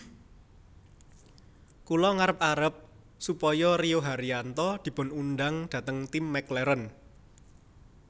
Kula ngarep arep supaya Rio Haryanto dipun undang dhateng tim McLaren